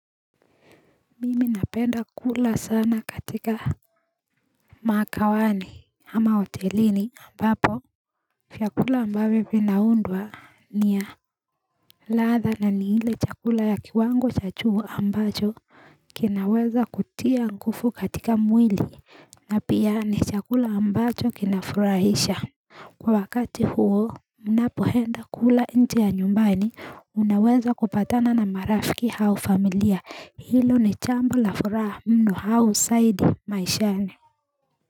Mimi napenda kula sana katika Mikawani ama hotelini ambapo vyakula ambavyo vinaundwa ni ya ladha na ni ile chakula ya kiwango cha juu ambacho kinaweza kutia nguvu katika mwili na pia ni chakula ambacho kinafurahisha Kwa wakati huo, unapoenda kula nje ya nyumbani, unaweza kupatana na marafiki au familia, hilo ni jambo la furaha mno au zaidi maishani.